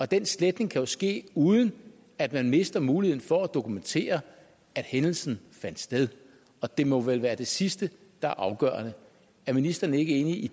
den sletning kan jo ske uden at man mister muligheden for at dokumentere at hændelsen fandt sted og det må vel være det sidste der er afgørende er ministeren ikke enig i